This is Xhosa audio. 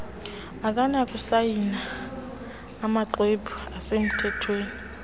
akanakusayina amaxhwebhu asemthethweni